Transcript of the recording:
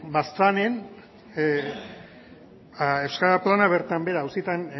baztanen ba euskara plana bertan behera auzietan